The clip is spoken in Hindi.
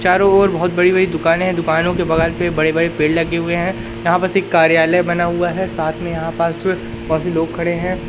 चारों ओर बहोत बड़ी-बड़ी दुकाने है दुकानों के बगल पे बड़े-बड़े पेड़ लगे हुए हैं यहां पर एक कार्यालय बना हुआ है साथ में यहां लोग खड़े हैं।